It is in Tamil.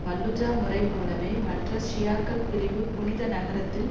பல்லுஜா முறை போலவே மற்ற ஷியாக்கள் பிரிவு புனித நகரத்தில்